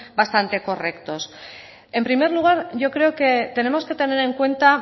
bastante correctos en primer lugar yo creo que tenemos que tener en cuenta